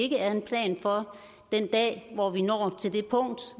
ikke er en plan for den dag hvor vi når til det punkt